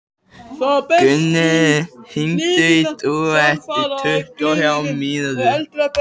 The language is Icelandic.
Gunnröður, hringdu í Dúa eftir tuttugu og þrjár mínútur.